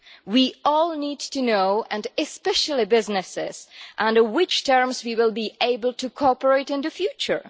We all need to know, and especially businesses, under which terms we will be able to cooperate in the future.